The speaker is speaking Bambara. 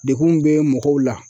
Dekun bɛ mɔgɔw la.